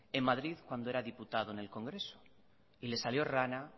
en madrid cuando era diputado en el congreso y le salió rana